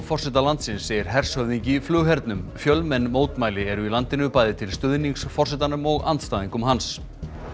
forseta landsins segir hershöfðingi í flughernum fjölmenn mótmæli eru í landinu bæði til stuðnings forsetanum og andstæðingum hans